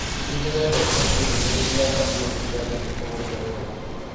Nĩdĩrenda ũcokie ndũmĩrĩri ya Maria ũkiuga atĩ nĩ tũgũcererwo.